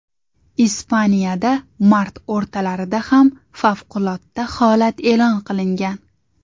Ispaniyada mart o‘rtalarida ham favqulodda holat e’lon qilingan .